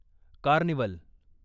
carnival